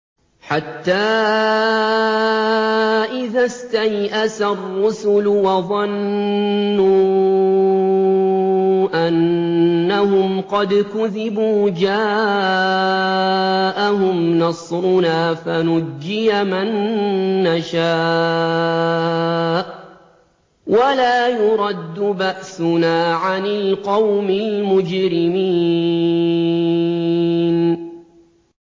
حَتَّىٰ إِذَا اسْتَيْأَسَ الرُّسُلُ وَظَنُّوا أَنَّهُمْ قَدْ كُذِبُوا جَاءَهُمْ نَصْرُنَا فَنُجِّيَ مَن نَّشَاءُ ۖ وَلَا يُرَدُّ بَأْسُنَا عَنِ الْقَوْمِ الْمُجْرِمِينَ